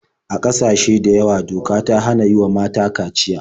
A ƙasashe da yawa doka ta hana yi wa mata kaciya.